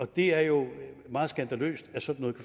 det er jo meget skandaløst at sådan